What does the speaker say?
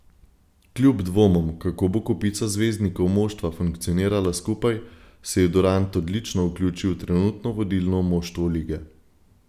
Kljub dvomom, kako bo kopica zvezdnikov moštva funkcionirala skupaj, se je Durant odlično vključil v trenutno vodilno moštvo lige.